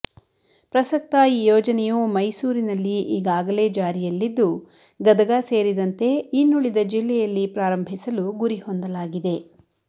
ಪ್ರಸಕ್ತ ಈ ಯೋಜನೆಯು ಮೈಸೂರಿನಲ್ಲಿ ಈ ಗಾಗಲೇ ಜಾರಿಯಲಿದ್ದು ಗದಗ ಸೇರಿದಂತೆ ಇನ್ನುಳಿದ ಜಿಲ್ಲೆಯಲ್ಲಿ ಪ್ರಾರಂಭಿಸಲು ಗುರಿ ಹೊಂದಲಾಗಿದೆ